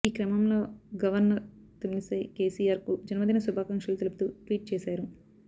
ఈ క్రమంలో గవర్నర్ తమిళిసై కెసిఆర్ కు జన్మదినశుభాకాంక్షలు తెలుపుతూ ట్వీట్ చేశారు